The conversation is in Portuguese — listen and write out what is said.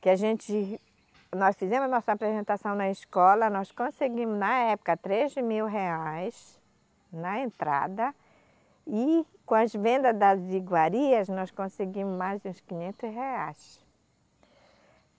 que a gente... nós fizemos a nossa apresentação na escola, nós conseguimos, na época, três mil reais na entrada e com as vendas das iguarias, nós conseguimos mais uns quinhentos reais.